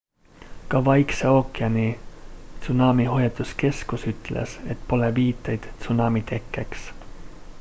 ka vaikse ookeani tsunamihoiatuskeskus ütles et pole viiteid tsunami tekkeks